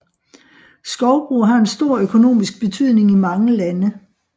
Skovbrug har en stor økonomisk betydning i mange lande